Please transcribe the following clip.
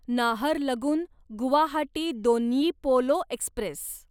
Naharlagun Guwahati Donyi Polo Express